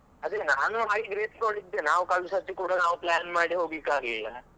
ಅದೇ ನಾನು ನೋಡಿದ್ದೇ ನಾವ್ ಕಳ್ದ್ ಸರ್ತಿ ಕೂಡ plan ಮಾಡಿ ನಾವ್ ಹೋಗ್ಲಿಕ್ಕೆ ಆಗ್ಲಿಲ್ಲ.